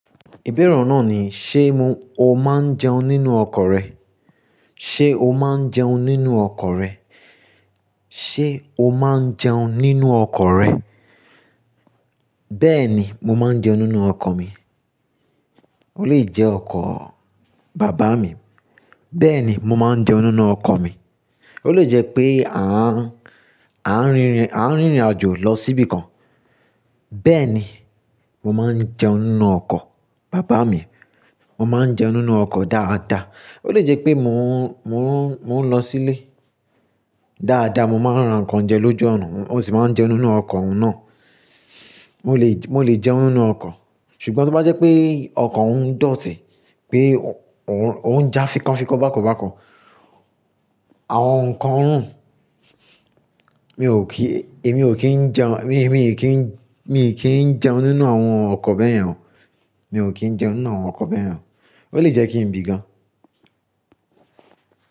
Ìbéèrè oun náà ni, ṣe mo, o máa ń jẹun nínú ọkọ̀ rẹ? Ṣé o máa ń jẹun nínú ọkọ̀ rẹ? Ṣé o máa ń jẹun nínú ọkọ̀ rẹ? Bẹ́ẹ̀ ni, mo máa ń jẹun nínú ọkọ̀ mi. Ó lè jẹ́ ọkọ̀ bàbá mi. Bẹ́ẹ̀ ni, mo máa ń jẹun nínú ọkọ̀ mi. Ó lè jẹ́ pé àń, à ń rìnrìn àjò lọ síbi kan. Bẹ́ẹ̀ ni, mo máa ń jẹun nínú ọkọ̀ bàbá mi. Mo máa ń jẹun nínú ọkọ̀ dáadáa. Ó lè jẹ́ pé mò ń, mò ń, mò ń lọ sílé. Dáadáa, mo máa ń ra nǹkan jẹ lójú ọnà, mo sì máa ń jẹun nínú ọkọ̀ náà. Mo lè, mo lè jẹun nínú ọkọ̀. Ṣùgbọ́n tí ó bá jẹ́ pé ọkọ̀ ń dòtí, pé ò ń já fikọ́ fikọ́ bákan bákan, àwọn nǹkan rún, mi ò kí, èmi ò kí ń jẹun, mi, mi kì í, mi kì í jẹun nínú àwọn ọkọ̀ bẹ́ẹ̀ yẹn o. Mi ò kí ń jẹun nínú àwọn ọkọ̀ bẹ́ẹ̀ yẹn o. Ó lè jẹ́ kí n bí gan.